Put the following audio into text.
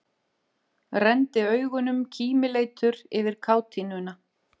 Renndi augunum kímileitur yfir kátínuna.